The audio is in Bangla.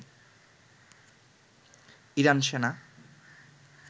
ইরান সেনা